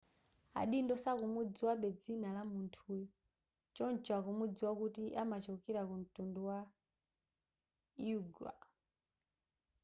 adindo sakumudziwabe dzina la munthuyo choncho akumudziwa kuti amachokera ku mtundu wa uighur